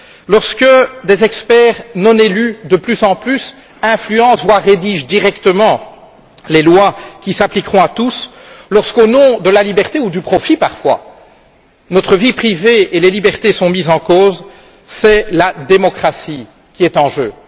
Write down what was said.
lorsque des experts non élus de plus en plus influencent, voire rédigent, directement les lois qui s'appliqueront à tous, lorsqu'au nom de la liberté ou du profit parfois, notre vie privée et nos libertés sont mises en cause, c'est la démocratie qui est en jeu.